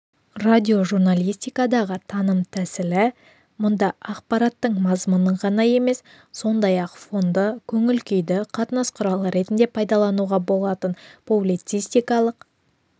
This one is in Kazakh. радиожурналистикадағы таным тәсілі мұнда ақпараттың мазмұнын ғана емес сондай-ақ фонды көңіл-күйді қатынас құрал ретінде пайдалануға болатындықтан публицистикалық